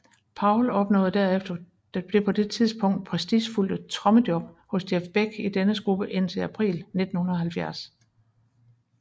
Powell opnåede derefter det på dette tidspunkt prestigefyldte trommejob hos Jeff Beck i dennes gruppe i april 1970